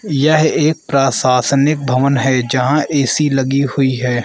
यह एक प्रशासनिक भवन है जहां ए_सी लगी हुई है।